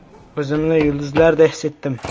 O‘zimni yulduzlarday his etdim”.